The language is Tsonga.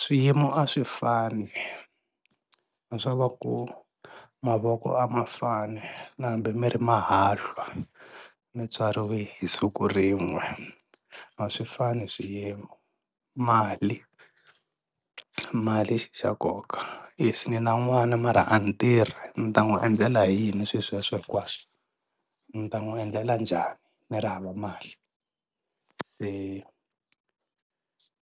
Swiyimo a swi fani swa va ku mavoko a ma fani na hambi mi ri mahahlwa mi tswariwe hi siku rin'we a swi fani swiyimo mali mali xa nkoka if ni na n'wana mara a ni tirhi ni ta n'wi endlela hi yini swi sweswo hinkwaswo ndzi ta n'wi endlela njhani ni ri hava mali